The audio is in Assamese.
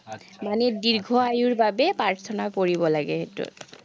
মানে দীৰ্ঘ আয়ুৰ বাবে প্ৰাৰ্থনা কৰিব লাগে সেইটোত।